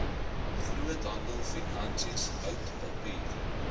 groothandelfinansies hout papier